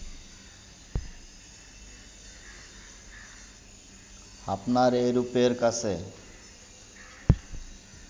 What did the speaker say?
আপনার এ রূপের কাছে